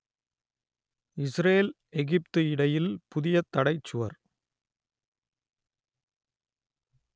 Israel Egypt இடையில் புதிய தடைச் சுவர்